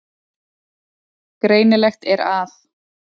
Greinilegt er að